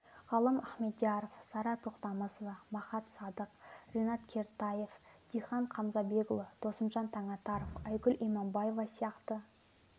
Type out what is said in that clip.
ғалым ахмедьяров сара тоқтамысова махат садық ринат кертаев дихан қамзабекұлы досымжан танатаров әйгүл иманбаева сияқты